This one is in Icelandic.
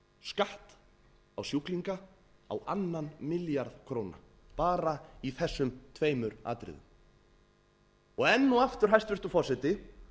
skatt á sjúklinga á annan milljarð króna bara í þessum tveimur atriðum enn og aftur hæstvirtur forseti